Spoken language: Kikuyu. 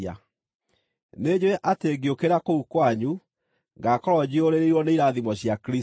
Nĩnjũũĩ atĩ ngĩũkĩra kũu kwanyu, ngaakorwo njiyũrĩrĩirwo nĩ irathimo cia Kristũ.